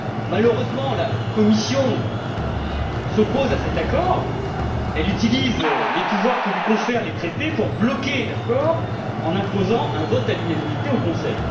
Malheureusement, la Commission s'oppose à cet accord elle utilise les pouvoirs que lui confèrent les traités pour bloquer l'accord en imposant un vote à l'unanimité au Conseil.